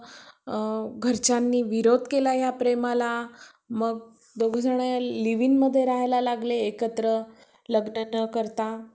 अ घरच्यांनी विरोध केला या प्रेमाला मग दोघे जण live in मध्ये राहायला लागले एकत्र लग्न न करता